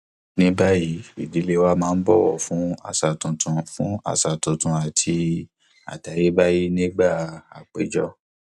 ní báyìí ìdílé wa ń bọwọ fún àṣà tuntun fún àṣà tuntun àti àtayébáyé nígbà àpéjọ